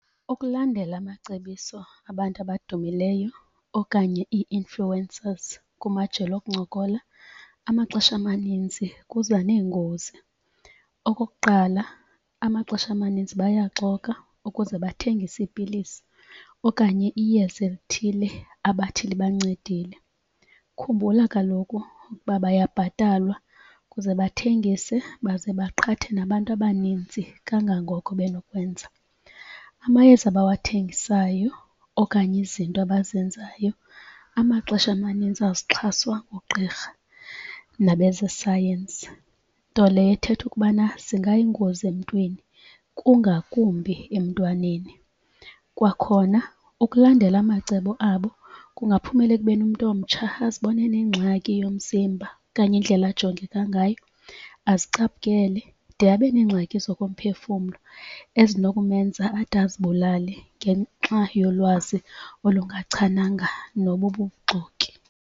Ukulandela amacebiso abantu abadumileyo okanye i-influencers kumajelo okuncokola amaxesha amaninzi kuza neengozi. Okokuqala amaxesha amaninzi bayaxoka ukuze bathengise iipilisi okanye iyeza elithile abathi libancedile. Khumbula kaloku kuba bayabhatalwa kuze bathengise baze baqhathe nabantu abaninzi kangangoko benokwenza. Amayeza abawathengisayo okanye izinto abazenzayo amaxesha amanintsi azixhaswa ngugqirha nabezesayensi. nto leyo ethetha ukubana zingayingozi emntwini kungakumbi emntwaneni. Kwakhona ukulandela amacebo abo kungaphumela ekubeni umntu omtsha azibone enengxaki yomzimba kanye indlela ajongeka ngayo azicaphukele de abe nengxaki zokophefumlo ezinokumenza ade azibulale ngenxa yolwazi olungachananga nobu buxoki.